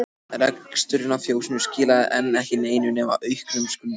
Reksturinn á fjósinu skilaði enn ekki neinu nema auknum skuldum.